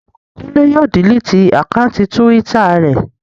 Kúnlé yóò diliti àkáùntì túwítà rẹ̀